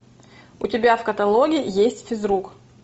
у тебя в каталоге есть физрук